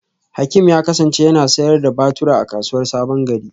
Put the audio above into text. Hakim ya kasance yana sayar da batura a kasuwar sabongeri.